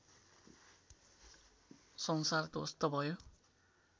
संसार ध्वस्त भयो